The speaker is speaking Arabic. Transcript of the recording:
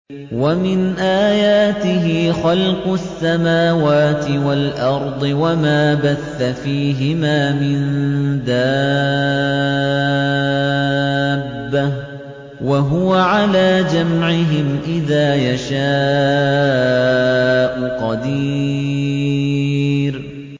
وَمِنْ آيَاتِهِ خَلْقُ السَّمَاوَاتِ وَالْأَرْضِ وَمَا بَثَّ فِيهِمَا مِن دَابَّةٍ ۚ وَهُوَ عَلَىٰ جَمْعِهِمْ إِذَا يَشَاءُ قَدِيرٌ